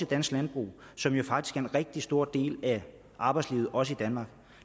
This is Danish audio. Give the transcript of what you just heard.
dansk landbrug som jo faktisk en rigtig stor del af arbejdslivet også i danmark